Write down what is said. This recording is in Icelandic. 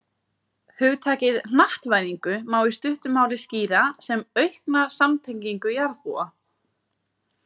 Hugtakið hnattvæðingu má í stuttu máli skýra sem aukna samtengingu jarðarbúa.